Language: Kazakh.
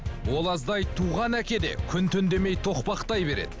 ол аздай туған әке де күн түн демей тоқпақтай береді